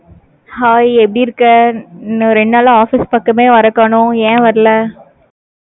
hi, எப்படி இருக்க? இன்னும், ரெண்டு நாளா, office பக்கமே, வரக் காணோம். ஏன், வரல